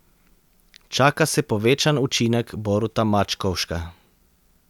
Čaka se povečan učinek Boruta Mačkovška.